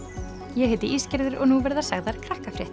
ég heiti og nú verða sagðar